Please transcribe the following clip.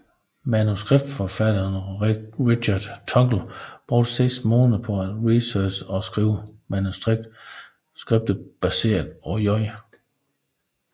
Manuskriptforfatteren Richard Tuggle brugte seks måneder på at researche og skrive manuskriptet baseret på J